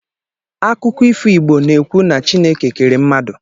Akụkọ ifo Igbo na-ekwu na chineke kere mmadụ.